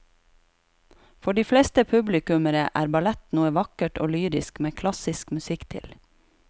For de fleste publikummere er ballett noe vakkert og lyrisk med klassisk musikk til.